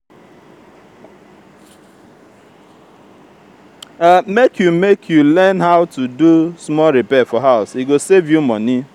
make you make you learn how to do small repair for house e go save you money.